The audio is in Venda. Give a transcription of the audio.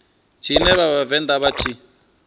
tshine vha vhavenḓa vha tshi